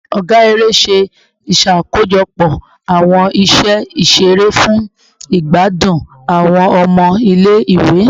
Ọga ere ṣe iṣakojọpọ awọn iṣe iṣere fun igbadun awọn ọmọ ile-iwe